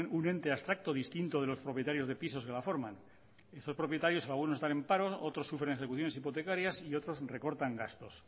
un ente abstracto distinto de los propietarios de pisos que la forman esos propietarios algunos están en paro otros sufren ejecuciones hipotecarias y otros recortan gastos